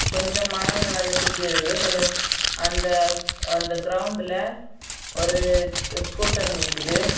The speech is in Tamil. கொஞ்சம் மரங்கள் அதை சுத்தி இருக்குது கொஞ்சம் அந்த அந்த கிரவுண்ட்ல ஒரு ஸ்கூட்டர் நிக்குது.